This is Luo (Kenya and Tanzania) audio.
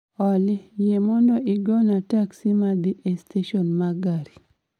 Olly yie mondo igona teksi madhi e stesen ma gari